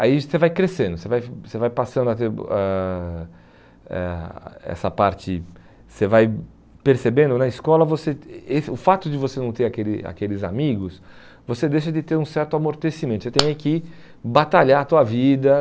Aí você vai crescendo, você vai você vai passando a ter eh essa parte, você vai percebendo na escola, você eh o fato de você não ter aquele aqueles amigos, você deixa de ter um certo amortecimento, você tem é que batalhar a tua vida.